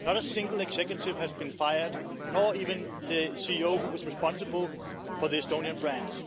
Not a single executive has been fired, not even the CEO who was responsible for the Estonian branch.